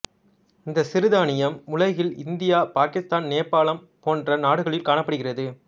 இந்த சிறுதானியம் உலகில் இந்தியா பாகிஸ்தான் நேபாளம் போன்ற நாடுகளில் காணப்படுகிறது